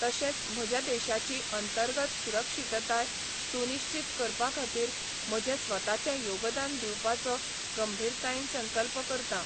तशेंच म्हज्या देशाची अंतर्गत सुरक्षीतताय सुनिश्चीत करपा खातीर म्हजें स्वताचें योगदान दिवपाचो गंभीरतायेन संकल्प करतां.